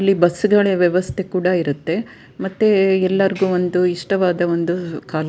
ಇಲ್ಲಿ ಬಸ್ ಗಳಿವೆ ವ್ಯವಸ್ಥೆ ಕೂಡ ಇರುತ್ತೆ ಮತ್ತೆ ಎಲ್ಲರಿಗು ಒಂದು ಇಷ್ಟವಾದ ಒಂದು ಕಾಲೇಜು .